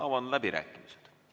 Avan läbirääkimised.